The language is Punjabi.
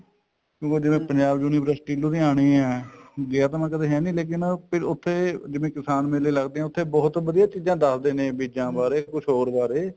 ਠੀਕ ਆ ਜਿਵੇਂ ਪੰਜਾਬ university ਲੁਧਿਆਣੇ ਆ ਗਿਆ ਤਾਂ ਮੈਂ ਕਦੇ ਹੈ ਨੀ ਲੇਕਿਨ ਉੱਥੇ ਜਿਵੇਂ ਕਿਸਾਨ ਮੇਲੇ ਲੱਗਦੇ ਆ ਉੱਥੇ ਬਹੁਤ ਚੀਜ਼ਾਂ ਦੱਸਦੇ ਨੇ ਬੀਜਾਂ ਬਾਰੇ ਜਾਂ ਕੁੱਝ ਹੋਰ ਬਾਰੇ